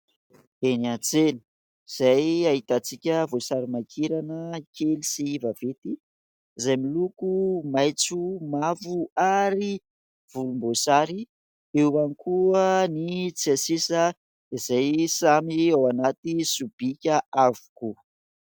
Eny an-tsena izay ahitantsika voasarimakirana kely sy vaventy izay miloko : maitso, mavo ary volomboasary. Eo ihany koa ny tsiasisa izay samy ao anaty sobika avokoa.